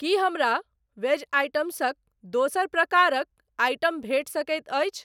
की हमरा वेज आइटम्सक दोसर प्रकारक आइटम भेटि सकैत अछि?